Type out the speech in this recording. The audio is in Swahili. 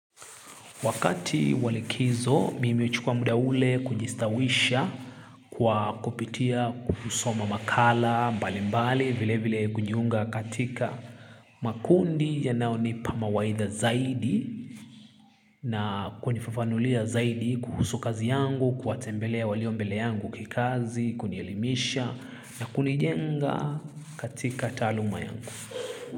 Wakati wa likizo, mimi huchukua muda ule kujistawisha kwa kupitia kuusoma makala mbalimbali vile vile kujiunga katika makundi yanayo nipa mawaidha zaidi na kunifafanulia zaidi kuhusu kazi yangu, kuwatembelea walio mbele yangu kikazi, kunielimisha na kunijenga katika taaluma yangu.